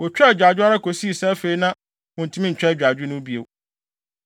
wotwaa agyaadwo ara kosii sɛ afei na wontumi ntwa agyaadwo no bio.